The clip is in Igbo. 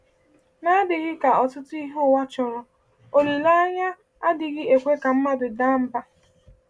N’adịghị ka ọtụtụ ihe ụwa chọrọ, olileanya a “adịghị eme ka mmadụ daa mba.”